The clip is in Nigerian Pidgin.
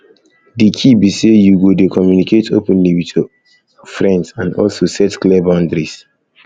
di key be say you go dey communicate openly with your openly with your friends and also set clear boundaries